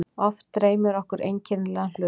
Oft dreymir okkur einkennilega hlut.